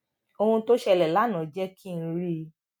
ohun tó ṣẹlè lánàá jé kí n rí